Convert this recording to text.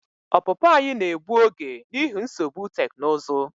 Ọpụpụ anyị na-egbu oge n'ihi nsogbu teknụzụ.